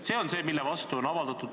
See on see, mille vastu on protesti avaldatud.